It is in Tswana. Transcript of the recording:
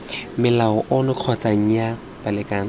molao ono kgotsa nnyaa balekane